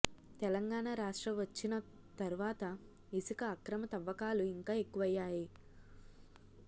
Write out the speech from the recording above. తెలంగాణ రాష్ట్రం వచ్చిన తర్వాత ఇసుక అక్రమ తవ్వకాలు ఇంకా ఎక్కువయ్యాయి